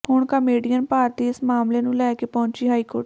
ਹੁਣ ਕਾਮੇਡੀਅਨ ਭਾਰਤੀ ਇਸ ਮਾਮਲੇ ਨੂੰ ਲੈ ਕੇ ਪਹੁੰਚੀ ਹਾਈਕੋਰਟ